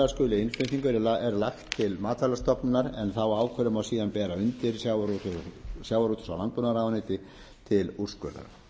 skuli innflutning er lagt til matvælastofnunar en þá ákvörðun má síðan bera undir sjávarútvegs og landbúnaðarráðuneyti til úrskurðar